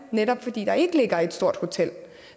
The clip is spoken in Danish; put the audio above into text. netop fordi der ikke ligger et stort hotel